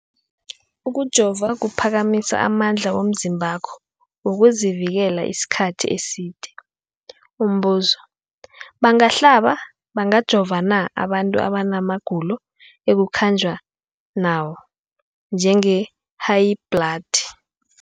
Ukujova kuphakamisa amandla womzimbakho wokuzivikela isikhathi eside. Umbuzo, bangahlaba, bangajova na abantu abana magulo ekukhanjwa nawo, njengehayibhladi?